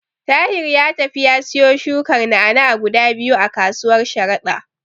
Tahir ya tafi ya siyo shukar na'a-na'a guda biyu a kasuwar Sharada.